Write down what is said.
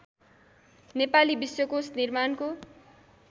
नेपाली विश्वकोश निर्माणको